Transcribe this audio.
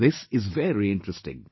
This is very interesting